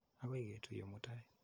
Akoi ketuye mutai.